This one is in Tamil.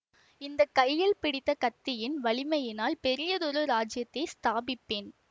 இந்த கையில் பிடித்த கத்தியின் வலிமையினால் பெரியதொரு ராஜ்யத்தை ஸ்தாபிப்பேன்